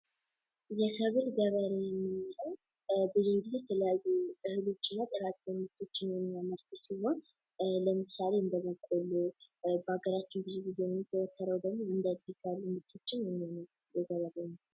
የሰብል ገበሬ የምንለው ብዙ ጊዜ ስለ እህሎችና ጥራጥሬ የሚያመርት ሲሆን ለምሳሌ እንደ በቆሎ በሀገራችን ብዙ ጊዜ የሚዘወትር ደግሞ እንደዛ አይነት ምርቶችን ያመርታል።